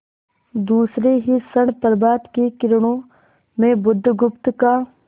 दूसरे ही क्षण प्रभात की किरणों में बुधगुप्त का